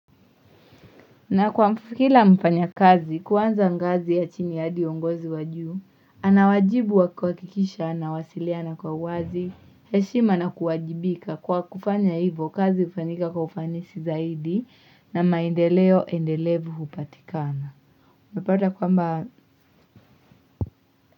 Na kwa kila mfanyakazi kuwanza ngazi ya chini hadi uongozi wajuu, anawajibu wa kwakikisha na wasiliana kwa wazi, heshima na kuwajibika kwa kufanya hivo kazi ufanyika kwa ufanisi zaidi na maendeleo endelevu upatikana. Mepata kwamba.